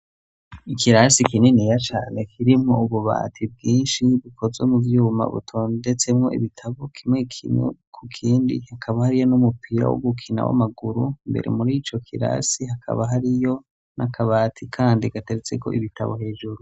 Ikirasi kininiya cane kirimo ububati bwinshi bukozwe mu vyuma butondetsemwo ibitabo kimwe kimwe ku kindi hakaba hariyo n'umupira w' ugukina w'amaguru. Imbere muri ico kirasi hakaba hariyo n'akabati kandi gateretseko ibitabo hejuru.